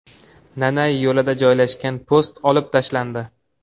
Nanay yo‘lida joylashgan post olib tashlandi.